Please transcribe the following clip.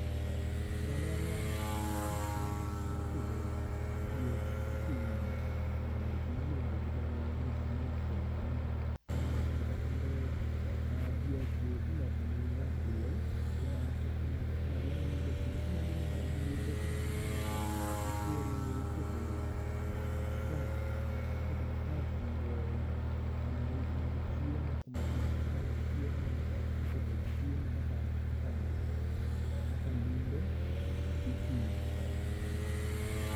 E aluora wa tich mar pidho diek itimo e gima iluongo gi dho ngere ni small scale farming, kendo diek gi iloso ne gi ga duol kuma gi ninde kendo kuma gininde duol e kuma gi ninde go nitiere iketo troughs iketo troughs mag mag chiemo iketo chiemo kaka lumbe gi pi.